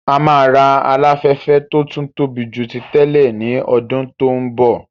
A máa ra Aláfẹ́fẹ́ tó tún tóbi ju ti tẹ́lẹ̀ ní ọdún tó ń bọ̀